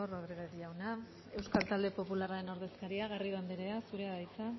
rodriguez jauna euskal talde popularraren ordezkaria garrido anderea zurea da hitza